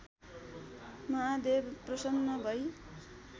महादेव प्रसन्न भई